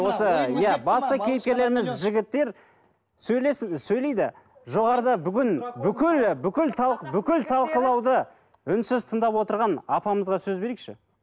осы иә басты кейіпкерлеріміз жігіттер сөйлейді жоғарыда бүгін бүкілі бүкіл бүкіл талқылауды үнсіз тыңдап отыған апамызға сөз берейікші